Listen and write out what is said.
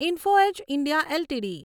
info edge India LTD